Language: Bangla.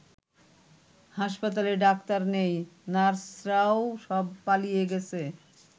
হাসপাতালে ডাক্তার নেই, নার্সরাও সব পালিয়ে গেছে।